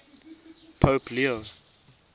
pope leo